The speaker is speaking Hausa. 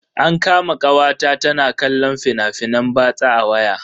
An kama kawata ta na kallon fina-finan batsa a waya.